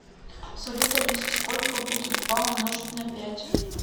салют алиса сколько будет два умножить на пять